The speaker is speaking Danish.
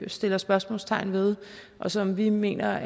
sætter spørgsmålstegn ved og som vi mener